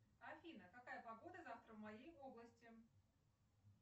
афина какая погода завтра в моей области